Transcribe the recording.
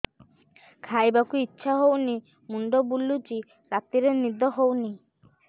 ଖାଇବାକୁ ଇଛା ହଉନି ମୁଣ୍ଡ ବୁଲୁଚି ରାତିରେ ନିଦ ହଉନି